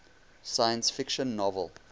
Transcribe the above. science fiction novel